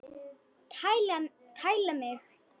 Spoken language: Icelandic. Tæla mig!